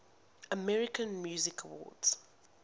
american music awards